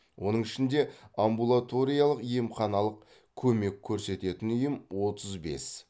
оның ішінде амбулаториялық емханалық көмек көрсететін ұйым отыз бес